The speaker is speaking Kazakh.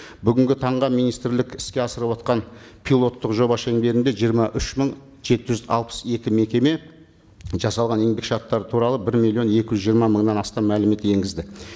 бүгінгі таңға министрлік іске асырыватқан пилоттық жоба шеңберінде жиырма үш мың жеті жүз алпыс екі мекеме жасалған еңбек шарттары туралы бір миллион екі жүз жиырма мыңнан астам мәлімет енгізді